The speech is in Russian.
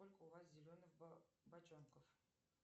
сколько у вас зеленых бочонков